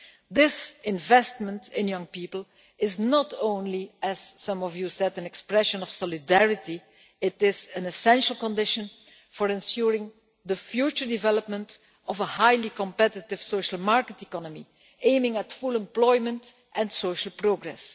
This investment in young people is not only, as some of you said, an expression of solidarity it is also an essential condition for ensuring the future development of a highly competitive social market economy aiming at full employment and social progress.